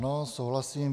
Ano, souhlasím.